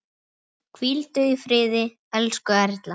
Hvíldu í friði, elsku Erla.